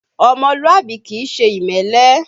Ọmọlúàbí kìí ṣe ìmẹ́lẹ́